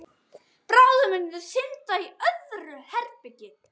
Bráðum munu þau synda í öðru herbergi.